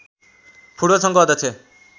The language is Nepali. फुटबल सङ्घको अध्यक्ष